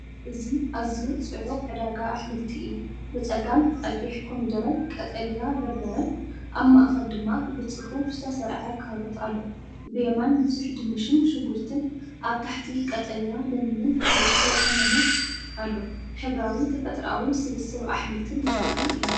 እዚ ኣዝዩ ጽዑቕ ዕዳጋ ኣሕምልቲ እዩ። ብጸጋም ቀይሕ ኮሚደረን ቀጠልያ በርበረን፣ ኣብ ማእከል ድማ ብጽፉፍ ዝተሰርዐ ካሮት ኣሎ። ብየማን ብዙሕ ድንሽን ሽጉርቲን፣ ኣብ ታሕቲ ቀጠልያ ለሚንን ንእሽቶ ቀመምን ኣሎ። ሕብራዊን ተፈጥሮኣውን ስብስብ ኣሕምልቲ ዘርኢ እዩ።